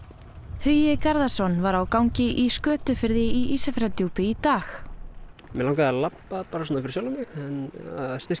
Hugi Garðarsson var á gangi í Skötufirði í Ísafjarðardjúpi í dag mig langaði að labba bara fyrir sjálfan mig en styrkja